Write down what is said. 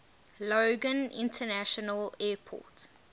logan international airport